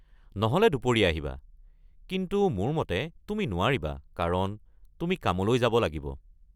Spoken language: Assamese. নহ’লে দুপৰীয়া আহিবা, কিন্তু মোৰ মতে তুমি নোৱাৰিবা কাৰণ তুমি কামলৈ যাব লাগিব।